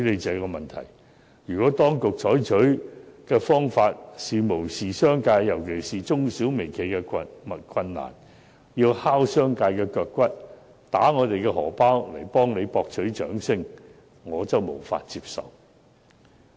然而，如果當局無視業界，尤其是中小微企的困難，要拷打業界的腳骨，打劫我們的荷包來為政府博取掌聲，我則無法接受。